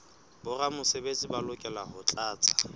boramesebetsi ba lokela ho tlatsa